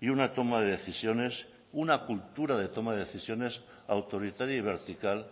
y una toma de decisiones una cultura de toma de decisiones autoritaria y vertical